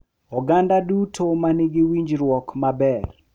Oganda duto ma nigi winjruok maber.